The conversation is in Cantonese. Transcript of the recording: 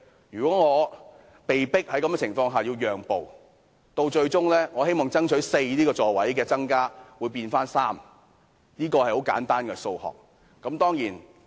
如果我被迫在這種情況下讓步，最終我希望爭取增加的4個座位會變回3個，這是很簡單的數學。